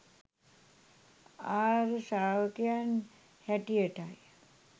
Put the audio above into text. ආර්ය ශ්‍රාවකයන් හැටියටයි.